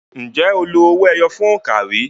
Ǹjẹ́ o lo owó ẹyọ fún òǹkà rí?